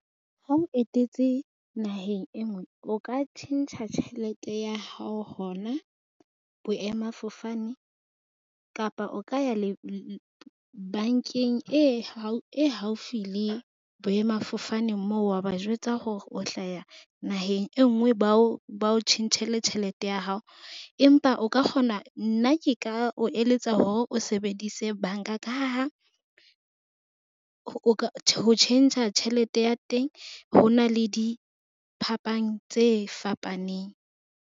Ha o etetse naheng e nngwe, o ka tjhentjha tjhelete ya hao hona boemafofane kapa o ka ya bank-eng e haufi le boemafofane moo wa ba jwetsa hore o hlaya naheng e nngwe. Ba o tjhentjhele tjhelete ya hao, empa o ka kgona. Nna ke ka o eletsa hore o sebedise bank-a ka ha ho ka ho tjhentjha tjhelete ya teng, ho na le diphapang tse fapaneng.